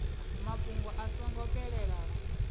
mafhungo a so ngo fhelelaho